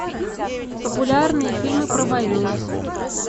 популярные фильмы про войну